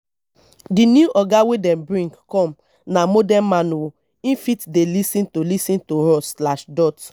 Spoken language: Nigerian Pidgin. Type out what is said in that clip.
di new oga wey dem bring come na modern man o him fit dey lis ten to lis ten to us slash dot